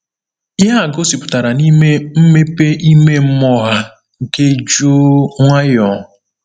Ihe a gosipụtara n’ime mmepe ime mmụọ ha nke jụụ nwayọọ.